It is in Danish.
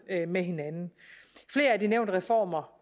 med hinanden flere af de nævnte reformer